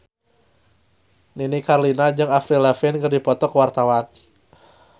Nini Carlina jeung Avril Lavigne keur dipoto ku wartawan